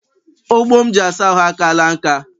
Ogbo m ji asa ahụ akaala nka.